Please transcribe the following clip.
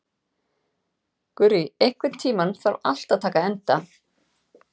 Gurrý, einhvern tímann þarf allt að taka enda.